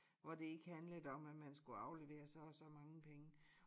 Hvor det ikke handlede om at man skulle aflevere så og så mange penge